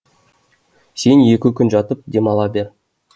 сен екі күн жатып демала бер